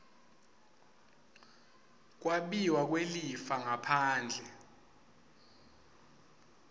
kwabiwa kwelifa ngaphandle